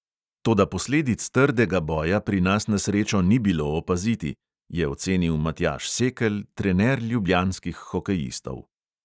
"Toda posledic trdega boja pri nas na srečo ni bilo opaziti," je ocenil matjaž sekelj, trener ljubljanskih hokejistov.